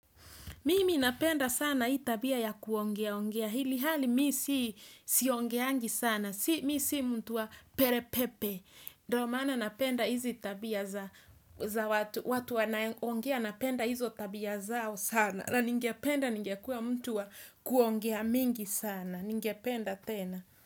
Mimi napenda sana hii tabia ya kuongeaongea ilhali mi si siongeangi sana. Mi si mtu wa perepepe. Ndo maana napenda hizi tabia za watu wanaongea napenda hizo tabia zao sana. Na ningependa ningekuwa mtu wa kuongea mingi sana. Ningependa tena.